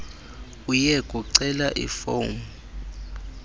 uye kucela ifomu